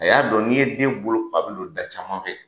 A y'a dɔn ,n'i ye den boloko a bi don da caman fɛ.